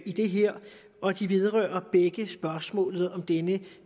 i det her og de vedrører begge spørgsmålet om denne